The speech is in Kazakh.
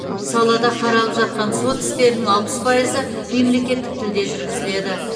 салада қаралып жатқан сот істерінің алпыс пайызы мемлекеттік тілде жүргізіледі